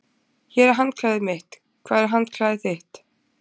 Hér er handklæðið mitt. Hvar er handklæðið þitt?